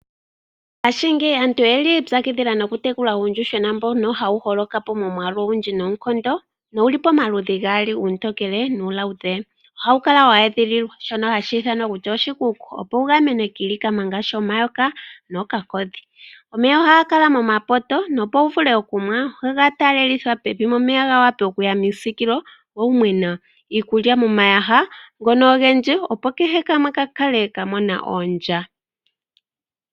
Ngaashingeyi aantu oye li yi ipyakidhila nokutekula uuyuhwena mbono hawu holoka po momwaalu ogundji noonkondo nowu li pamaludhi gaali, uutokele nuuluudhe. Ohawu kala we edhililwa mehala hali ithanwa kutya oshikuku, opo wu gamenwe kiilikama ngaashi omayoka nookakodhi. Omeya ohaga kala momapoto nopo wu vule okunwa, ohaga taalelithwa pevi, opo omeya ga wape okuya miisiikilo wo wu nwe nawa, iikulya momayaha ngono ogendji, opo kehe kamwe ka kale ka mona ondya.